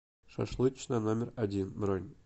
шашлычная номер один бронь